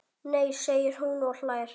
Nei segir hún og hlær.